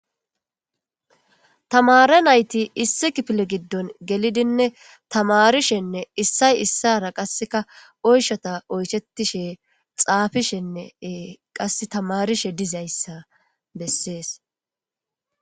Tamare nayti issi kiffile giddon gellidine tamrishshenne issoy issara qaase oychchata oychetishshne xaapishshenne qaasse tamarishshe dizayssa besses